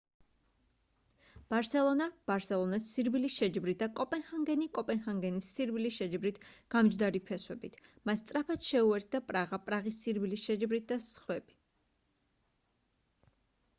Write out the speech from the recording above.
ბარსელონა ბარსელონას სირბილის შეჯიბრით და კოპენჰაგენი კოპენჰაგენის სირბილის შეჯიბრით გამჯდარი ფესვებით მას სწრაფად შეუერთდა პრაღა პრაღის სირბილის შეჯიბრით და სხვები